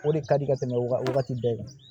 O de ka di ka tɛmɛ wagati bɛɛ kan